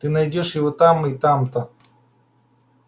ты найдёшь его там-то и там-то